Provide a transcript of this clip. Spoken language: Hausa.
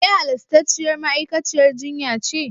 Ke halastarciyar ma'aikaciyar jinya ce?